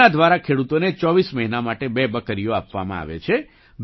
તેના દ્વારા ખેડૂતોને 24 મહિના માટે બે બકરીઓ આપવામાં આવે છે